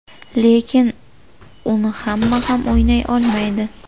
Lekin uni hamma ham o‘ynay olmaydi.